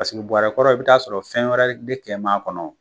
Paseke buɔrɛ kɔrɔ i bɛ taa sɔrɔ fɛn wɛrɛ de kɛ maa kɔnɔ.